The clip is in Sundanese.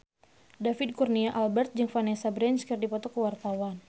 David Kurnia Albert jeung Vanessa Branch keur dipoto ku wartawan